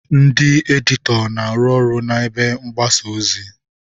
Ndị editọ na-arụ ọrụ na ebe mgbasa ozi.